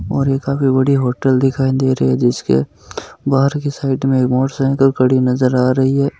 और ये काफी बड़ी होटल दिखाई दे रही है जिसके बाहर की साइड में एक मोटरसाइकल खड़ी नज़र आ रही है।